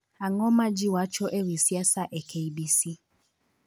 Ang'o ma ji wacho e wi siasa e k. b. c.